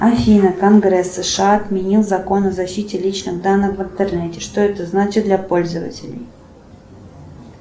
афина конгресс сша отменил закон о защите личных данных в интернете что это значит для пользователей